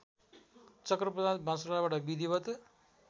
चक्रप्रसाद बास्तोलाबाट विधिवत्